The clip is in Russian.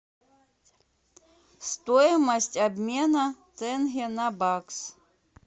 стоимость обмена тенге на бакс